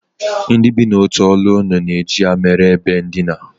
Ndị bi n'otu ọnụụlọ na-eji ya mere ebe ndina